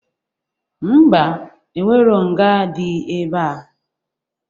Ḿbà, enwerọ nga dị ebea